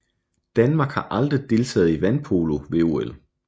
Danmark har aldrig deltaget i vandpolo ved OL